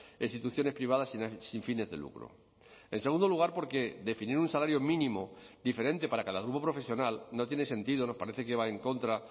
e instituciones privadas sin fines de lucro en segundo lugar porque definir un salario mínimo diferente para cada grupo profesional no tiene sentido nos parece que va en contra